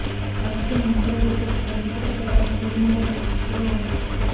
ఆతిథ్య న్యూజిలాండ్ జట్టు పది వికెట్ల తేడాతో టీమిండియాను చిత్తుగా ఓడించింది